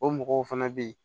O mɔgɔw fana bɛ yen